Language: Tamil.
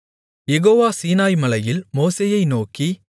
யெகோவா சீனாய்மலையில் மோசேயை நோக்கி